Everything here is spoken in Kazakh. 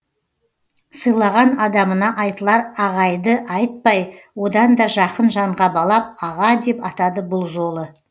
сыйлаған адамына айтылар ағайды айтпай одан да жақын жанға балап аға деп атады бұл жолы